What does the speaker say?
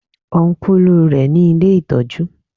Ọ́nkùlù rẹ ní ilé ìtọ́jú